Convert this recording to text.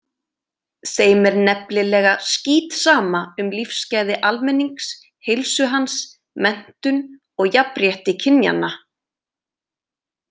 Þeim er nefnilega skítsama um lífsgæði almennings, heilsu hans, menntun og jafnrétti kynjanna.